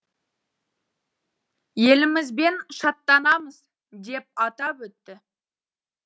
елімізбен шаттанамыз деп атап өтті